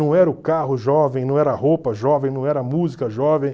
Não era o carro jovem, não era a roupa jovem, não era a música jovem.